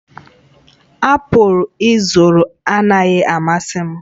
apụl ị zụrụ anaghị amasị m